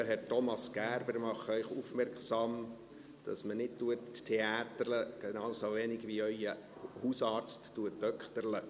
Lieber Herr Thomas Gerber, ich mache Sie aufmerksam, dass man nicht «theäterlet», genauso wenig wie Ihr Hausarzt «dökterlet».